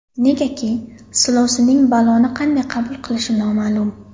Negaki silovsinning bolani qanday qabul qilishi noma’lum.